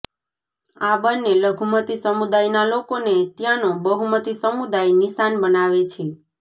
આ બંને લઘુમતી સમુદાયના લોકોને ત્યાંનો બહુમતી સમુદાય નિશાન બનાવે છે